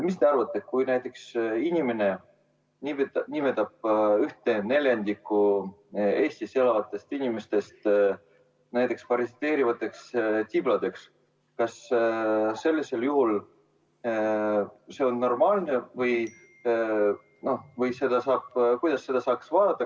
Mis te arvate sellest, kui keegi nimetab ühte neljandikku Eestis elavatest inimestest parasiteerivateks tibladeks – kas see on normaalne või kuidas sellesse suhtuda?